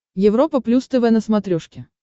европа плюс тв на смотрешке